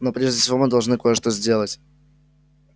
но прежде всего мы должны кое-что сделать